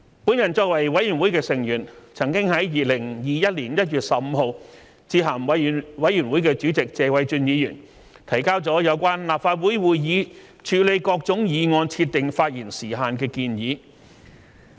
我作為委員會的成員，曾在2021年1月15日致函委員會主席謝偉俊議員，提交了有關立法會會議處理各類議案設定發言時限的建議。